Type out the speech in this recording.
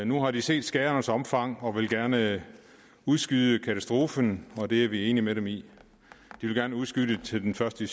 nu har de set skadernes omfang og vil gerne udskyde katastrofen og det er vi enig med dem i de vil gerne udskyde det til den første